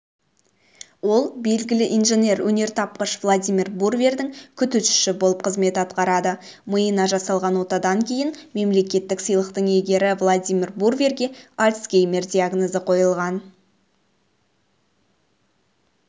ол белгілі инженер-өнертапқыш владимир брувердің күтушісі болып қызмет атқарады миына жасалған отадан кейін мемлекеттік сыйлықтың иегері владимир бруверге альцгеймер диагнозы қойылған